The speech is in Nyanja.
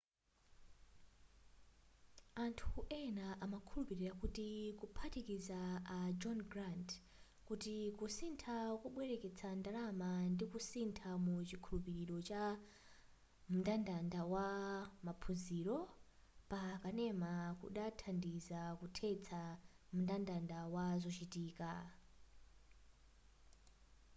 anthu ena amakhulupira kuti kuphatikiza a john grant kuti kutsika kobwereketsa ndalama ndikusintha mu chikhulupiliro cha mndandanda wa maphunziro pa kanema kudanthandiza kuthetsa mndandanda wa zochitika